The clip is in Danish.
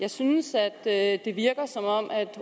jeg synes at det virker som om